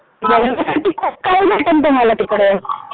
बघण्यासाठी खूप काही भेटेल तुम्हाला तिकडं.